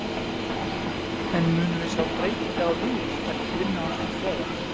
En munum við sjá breytingar á liðinu eftir vinnu hans nú þegar?